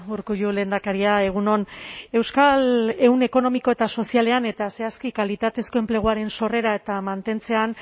urkullu lehendakaria egun on euskal ehun ekonomiko eta sozialean eta zehazki kalitatezko enpleguaren sorreran eta mantentzean